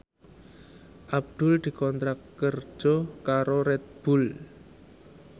Abdul dikontrak kerja karo Red Bull